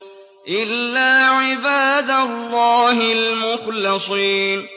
إِلَّا عِبَادَ اللَّهِ الْمُخْلَصِينَ